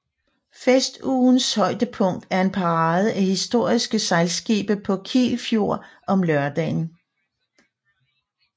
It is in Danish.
Festugens højdepunkt er en parade af historiske sejlskibe på Kiel Fjord om lørdagen